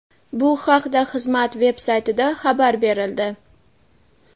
Bu haqda xizmat veb-saytida xabar berildi.